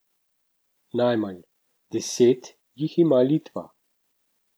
Najmanj, deset, jih ima Litva.